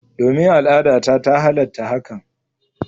Domin, al'adata ta halatta hakan.